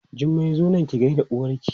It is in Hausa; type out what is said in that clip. Jummai zo nan ki gaida uwarki!